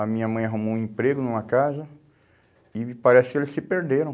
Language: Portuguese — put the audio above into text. A minha mãe arrumou um emprego numa casa e parece que eles se perderam.